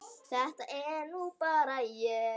Þetta er nú bara ég!